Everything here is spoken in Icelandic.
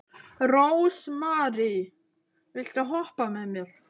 Rósmary, viltu hoppa með mér?